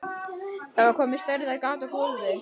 Það var komið stærðar gat í gólfið.